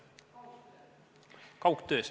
Kaugtööst, jaa.